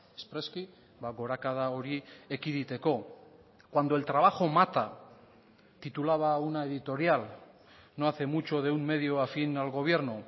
espreski gorakada hori ekiditeko cuando el trabajo mata titulaba una editorial no hace mucho de un medio afín al gobierno